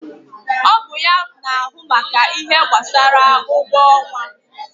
Ọ bụ ya na ahụ maka ihe gbasara ụgwọ ọnwa